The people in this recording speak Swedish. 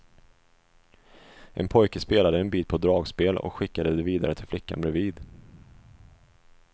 En pojke spelade en bit på dragspel och skickade det vidare till flickan bredvid.